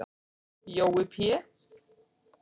Jói Pé